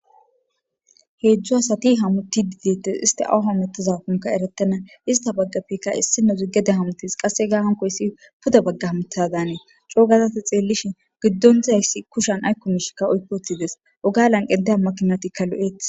heejzju asati hamutti didettes isti awuha mettazakonka eretena ista baggafekka issinozigede hamutis qasse gaa hankoyssi puda baggah mutadaanee coogazati xeellishi giddon dizayssi kushan aykkumishikka oykoothides ogalan qedehammakinatikkalo7eetis